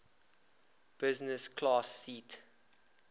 business class seat